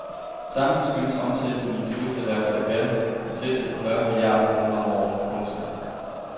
Samlet skønnes omsætningen i turisterhvervet at være på tæt ved fyrre milliarder kroner om året. punktum